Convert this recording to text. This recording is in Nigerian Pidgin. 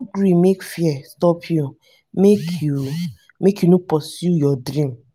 no gree make fear stop you make you make you no pursue your dream.